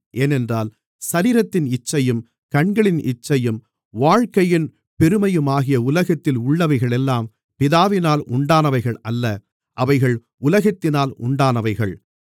ஏனென்றால் சரீரத்தின் இச்சையும் கண்களின் இச்சையும் வாழ்க்கையின் பெருமையுமாகிய உலகத்தில் உள்ளவைகளெல்லாம் பிதாவினால் உண்டானவைகள் அல்ல அவைகள் உலகத்தினால் உண்டானவைகள்